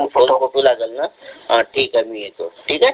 दोन photo copy लागेल ना ठीक आहे मी येतो ठीक आहे